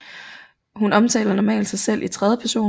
Hun omtaler normalt sig selv i tredje person